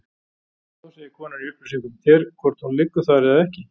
Þá segir konan í upplýsingum þér hvort hún liggur þar eða ekki.